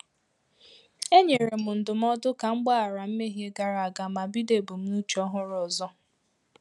E nyere m ndụmọdụ ka m gbaghara mmehie gara aga ma bido ebumnuche ọhụrụ ọzọ